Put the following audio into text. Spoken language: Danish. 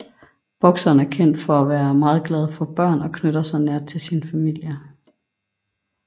Boxeren er kendt for at være meget glad for børn og knytter sig nært til sin familie